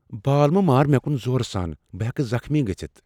بال مہ مار مےٚ کُن زورٕ سان۔ بہٕ ہیکہٕ زخمی گژِھتھ۔